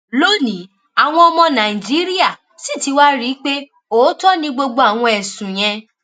lónìí àwọn ọmọ nàìjíríà sì ti wáá rí i pé òótọ ni gbogbo àwọn ẹsùn yẹn